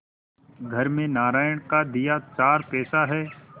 घर में नारायण का दिया चार पैसा है